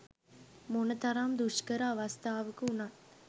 මොන තරම් දුෂ්කර අවස්ථාවක වුණත්